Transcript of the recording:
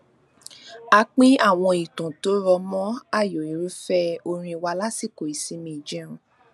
a pín àwọn ìtàn tó rọ mọ ààyò irúfẹ orin wa lásìkò ìsinmi ìjẹun